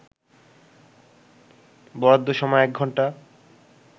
বরাদ্দ সময় ১ ঘণ্টা